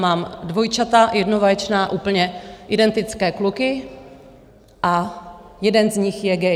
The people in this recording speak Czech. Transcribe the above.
Mám dvojčata, jednovaječná, úplně identické kluky, a jeden z nich je gay.